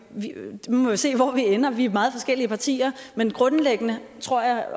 se hvor vi ender vi er meget forskellige partier men grundlæggende tror jeg